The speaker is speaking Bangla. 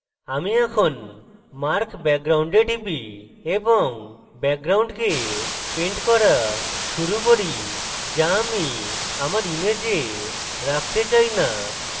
আমি এখন mark background এ টিপি এবং ব্যাকগ্রাউন্ডকে পেন্ট করা শুরু করি যা আমি আমার image রাখতে চাই now